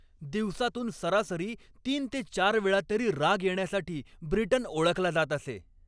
दिवसातून सरासरी तीन ते चार वेळा तरी राग येण्यासाठी ब्रिटन ओळखला जात असे.